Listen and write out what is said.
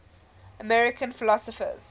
american philosophers